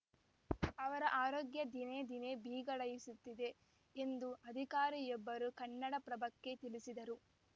ಅವರ ಆರೋಗ್ಯ ದಿನೇ ದಿನೇ ಬಿಗಡಾಯಿಸುತ್ತಿದೆ ಎಂದು ಅಧಿಕಾರಿಯೊಬ್ಬರು ಕನ್ನಡಪ್ರಭಕ್ಕೆ ತಿಳಿಸಿದರು